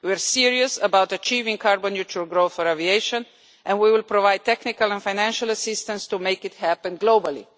We are serious about achieving carbon neutral growth for aviation and we will provide technical and financial assistance to make it happen globally.